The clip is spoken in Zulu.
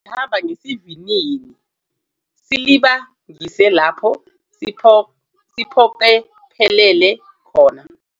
Futhi sihamba ngesivinini silibangise lapho siphokophelele khona.